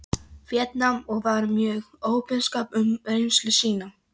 Víetnam og var mjög opinskár um reynslu sína.